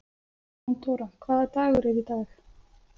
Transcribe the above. Jóndóra, hvaða dagur er í dag?